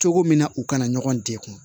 Cogo min na u kana ɲɔgɔn degun